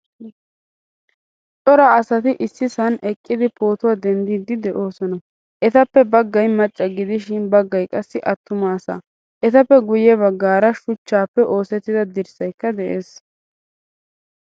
Cora asati issisan eqqidi pootuwaa denddidi deosona. Ettappe baggay macca gidishin baggay qassi attumaasaa. Ettappe guye baggaara shuchchappe oosettida dirssaykka de'ees.